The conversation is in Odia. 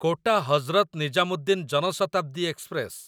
quota Hazrat Nizamuddin Jan Shatabdi express